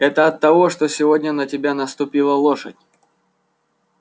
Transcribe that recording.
это оттого что сегодня на тебя наступила лошадь